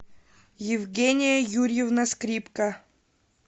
евгения юрьевна скрипка